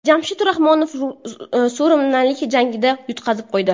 Jamshid Rahmonaliyev surinamlik jangchiga yutqazib qo‘ydi.